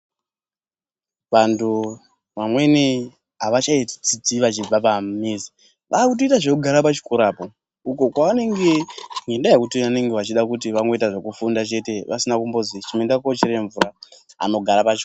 Vantu vamweni havachadzidzi vachibva pamizi., vakutoita zvekugara kuchikorako apapo kwavanenge ngenyaya yekuti vanenge vachida kuita zvekufunda chete ,pasina kumbozi chimboendaa kochere mvuraa,